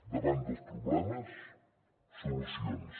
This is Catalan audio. davant dels problemes solucions